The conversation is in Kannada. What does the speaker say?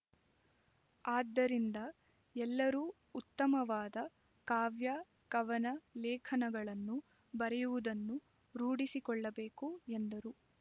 ಆದ್ದರಿಂದ ಎಲ್ಲರೂ ಉತ್ತಮವಾದ ಕಾವ್ಯಕವನ ಲೇಖನಗಳನ್ನು ಬರೆಯುವದನ್ನು ರೂಡಿಸಿಕೊಳ್ಳಬೇಕು ಎಂದರು